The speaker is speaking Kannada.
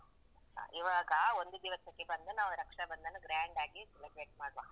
ಅ ಈವಾಗ ಒಂದು ದಿವಸಕ್ಕೆ ಬಂದು ನಾವು ರಕ್ಷಾಬಂಧನ grand ಗಿ celebrate ಮಾಡುವ.